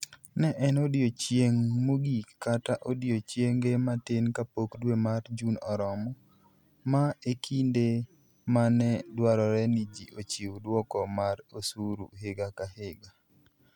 Ne en odiechieng' mogik, kata odiechienge matin kapok dwe mar Jun orumo, ma e kinde ma ne dwarore ni ji ochiw dwoko mar osuru higa ka higa.